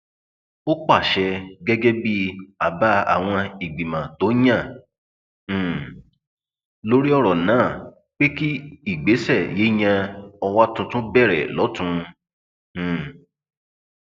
ó pàṣẹ gẹgẹ bíi àbá àwọn ìgbìmọ tó yàn um lórí ọrọ náà pé kí ìgbésẹ yíyan ọwa tuntun bẹrẹ lọtùn um